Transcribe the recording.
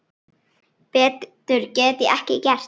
Betur get ég ekki gert.